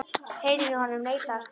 Heilinn í honum neitaði að starfa.